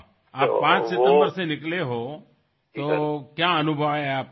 ৱাহআপুনি ৫ ছেপ্টেম্বৰৰ পৰা আৰম্ভ কৰিছে আপোনাৰ অভিজ্ঞতা কেনেধৰণৰ হৈছে